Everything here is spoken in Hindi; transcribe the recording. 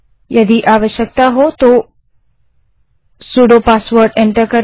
यदि आवश्कता हो तो सुडो पासवर्ड को एंटर करें